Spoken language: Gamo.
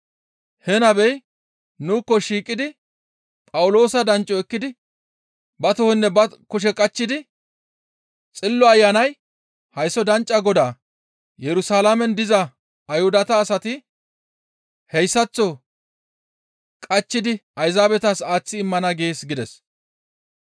He nabey nuukko shiiqidi Phawuloosa dancco ekkidi ba tohonne ba kushe qachchidi, «Xillo Ayanay hayssa danccaa godaa Yerusalaamen diza Ayhuda asati hayssaththo qachchidi Ayzaabetas aaththi immana gees» gides.